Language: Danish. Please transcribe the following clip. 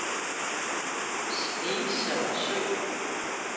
Snesere Sø